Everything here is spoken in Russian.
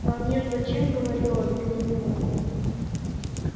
а между тем говорила без умолку